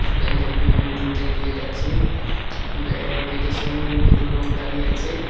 ব্যাঙ্কের এখানে তিনটে গেট আছে ব্যা গেটের সামনে দুটো লোক দাঁড়িয়ে আছে।